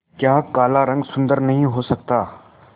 क्या काला रंग सुंदर नहीं हो सकता